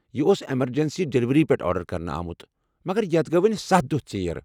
یہ اوٗس emergency delivery پٮ۪ٹھ آرڈر کرنہٕ آمُت مگر یَتھ گو٘ وونہِ ستھَ دۄہ ژیر